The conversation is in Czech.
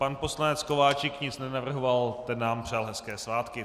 Pan poslanec Kováčik nic nenavrhoval, ten nám přál hezké svátky.